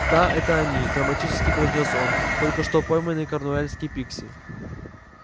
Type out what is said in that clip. да это они драматически произнёс он только что пойманные корнуэльские пикси